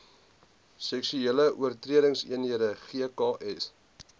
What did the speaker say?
seksuele oortredingseenhede gks